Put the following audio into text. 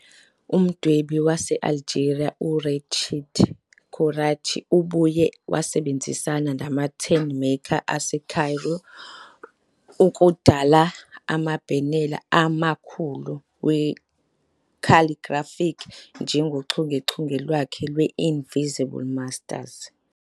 Umdwebi wase-Algeria u-Rachid Koraïchi ubuye wasebenzisana namaTentmaker aseCairo ukudala amabhanela amakhulu we-calligraphic, njengochungechunge lwakhe lwe-Invisible Masters.